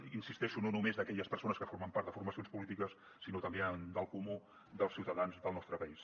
hi insisteixo no només d’aquelles persones que formen part de formacions polítiques sinó també del comú dels ciutadans del nostre país